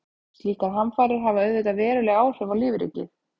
Slíkar hamfarir hafa auðvitað veruleg áhrif á lífríkið.